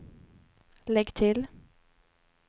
lägg till